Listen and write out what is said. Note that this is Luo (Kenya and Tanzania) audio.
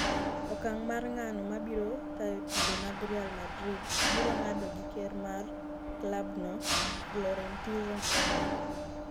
Okang' mar ng'ano mabiro tayo timbe mag Real Madrid biro ng'ado gi ker mar klabno Florentino Perez.